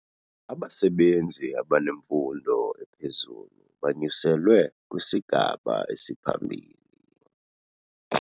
Abasebenzi abanemfundo ephezulu banyuselwe kwisigaba esiphambili.